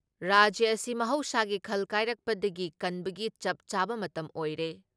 ꯔꯥꯖ꯭ꯌ ꯑꯁꯤ ꯃꯍꯧꯁꯥꯒꯤ ꯈꯜ ꯀꯥꯏꯔꯛꯄꯗꯒꯤ ꯀꯟꯕꯒꯤ ꯆꯞ ꯆꯥꯕ ꯃꯇꯝ ꯑꯣꯏꯔꯦ ꯫